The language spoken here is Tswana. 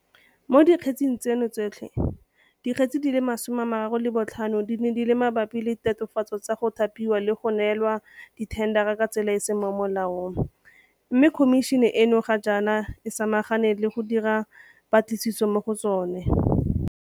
Mo dikgetseng tseno tsotlhe, di kgetse di le 35 di ne di le mabapi le ditatofatso tsa go thapiwa le go neelwa dithendara ka tsela e e seng mo molaong mme Khomišene eno ga jaana e sama gane le go dira dipatlisiso mo go tsona.